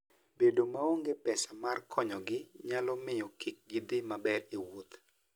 Bedo maonge pesa mar konyogi nyalo miyo kik gidhi maber e wuoth.